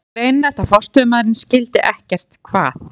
Það var greinilegt að forstöðumaðurinn skildi ekkert hvað